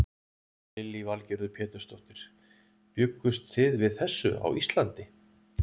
Lillý Valgerður Pétursdóttir: Bjuggust þið við þessu á Íslandi?